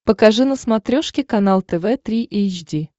покажи на смотрешке канал тв три эйч ди